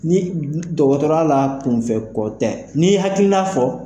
Ni dɔgɔtɔrɔya la , kunfɛ kɔ tɛ, n'i y'o hakilina fɔ